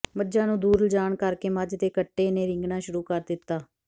ਮੱਝਾਂ ਨੂੰ ਦੂਰ ਲਿਜਾਣ ਕਰ ਕੇ ਮੱਝ ਦੇ ਕੱਟੇ ਨੇ ਰਿੰਗਣਾਂ ਸ਼ੁਰੂ ਕਰ ਦਿੱਤਾ